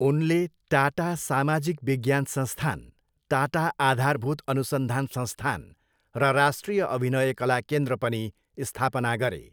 उनले टाटा सामाजिक विज्ञान संस्थान, टाटा आधारभूत अनुसन्धान संस्थान र राष्ट्रिय अभिनय कला केन्द्र पनि स्थापना गरे।